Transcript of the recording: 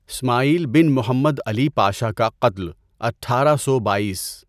اسماعیل بن Muhammad Ali Pasha کا قتل، اٹھارہ سو بائیس